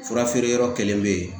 Fura feere yɔrɔ kelen be yen